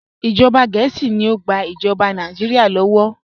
Ìjọba Gẹẹsi ni o gbà ìjọba Nàìjíríà lọ́wọ́.